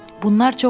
Bunlar çoxdur.